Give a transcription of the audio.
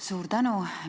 Suur tänu!